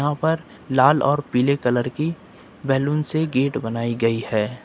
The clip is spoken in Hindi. यहां पर लाल और पीले कलर की बैलून से गेट बनाई गई है।